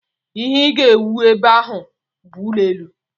Ihe ị ga-ewu ebe a bụ ụlọelu!